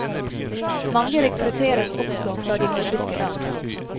Mange rekrutteres også fra de nordiske land.